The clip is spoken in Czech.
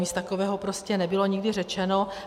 Nic takového prostě nebylo nikdy řečeno.